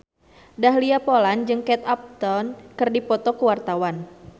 Dahlia Poland jeung Kate Upton keur dipoto ku wartawan